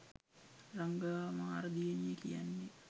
රඟා මාර දියණිය කියන්නේ